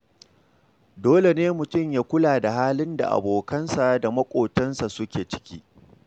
Dole ne mutum ya kula da halin da abokansa da maƙotansu suke ciki.